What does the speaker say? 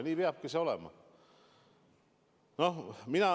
Nii peabki olema.